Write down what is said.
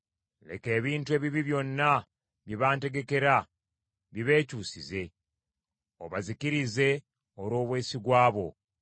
Leka ebintu ebibi byonna bye bantegekera, bibeekyusize, obazikirize olw’obwesigwa bwo.